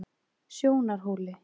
Sjónarhóli